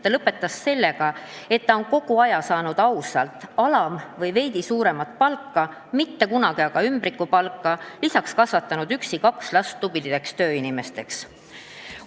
Ta lõpetas sellega, et ta on kogu aja saanud ausalt alam- või veidi suuremat palka, mitte kunagi aga ümbrikupalka, lisaks kasvatanud üksi kaks last tublideks tööinimesteks.